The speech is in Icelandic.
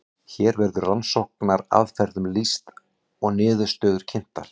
hér verður rannsóknaraðferðum lýst og niðurstöður kynntar